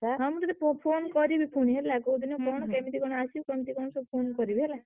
ହଁ ମୁଁ ତତେ ପୋ phone କରିବି ପୁଣି ହେଲା। କୋଉଦିନ କଣ କେମିତି କଣ ଆସିବି କେମିତି କଣ ସବୁ phone କରିବି ହେଲା।